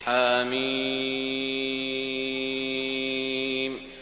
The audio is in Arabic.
حم